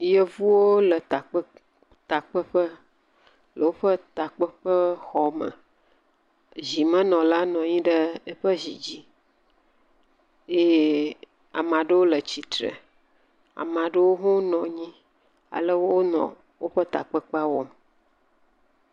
Yevuwo le takpeƒe, le woƒe takpeƒexɔme, zimenɔla nɔ anyi ɖe aƒe zi dzi eye ame aɖewo nɔ anyi eye ame aɖewo le tsitre ale wonɔ woƒe takpekpe wɔm.